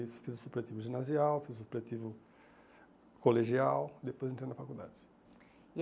Isso, fiz o supletivo ginasial, fiz o supletivo colegial, depois entrei na faculdade. E